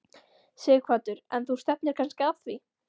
Sighvatur: En þú stefnir kannski að því?